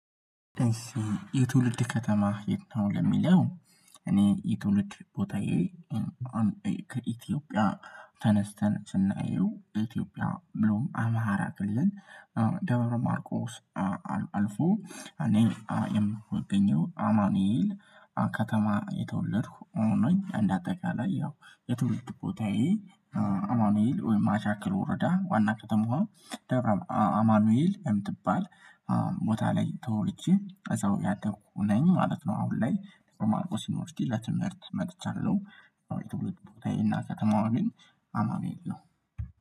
የትውልድ ከተማህ የት ነው? ለሚለው እኔ የትውልድ ቦታዬ ከኢትዮጵያ ተነስተን ስናየው ኢትዮጵያ ብሎም አማራ ክልል ደበረ ማርቆስ አልፎ እኔ የምገኘው አማኑኤል ከተማ የተወለድኩ ነኝ። እንደ አጠቃላይ ያው የተወለድኩ ቦታዬ አማኑኤል ወይም ማሻክል ወረዳ ዋና ከተማዋ ደብረ አማኑኤል የምትባል ቦታ ላይ ተወልጄ እዛው ያደኩኝ ነኝ ማለት ነው። አሁን ላይ በማርቆስ ዩንቨርስቲ ለትምህርት መጥቻለሁ። ቦታዬ እና ከተማዋ ግን አማኑኤል ነው